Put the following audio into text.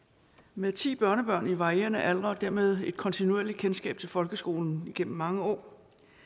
med ti børnebørn i varierende alder og dermed et kontinuerligt kendskab til folkeskolen gennem mange år